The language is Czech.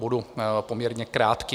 Budu poměrně krátký.